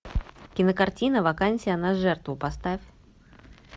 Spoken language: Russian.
кинокартина вакансия на жертву поставь